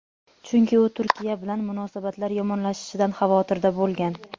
chunki u Turkiya bilan munosabatlar yomonlashishidan xavotirda bo‘lgan.